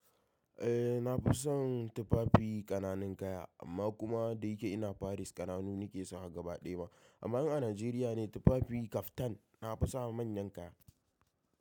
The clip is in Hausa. Eh na fi son tufafi ƙananan kaya amma kuma da yake ina Paris ƙananu nake sawa gaba ɗaya ma. Amma in a Najeriya ne tufafi kaftan na fi sawa manyan kaya.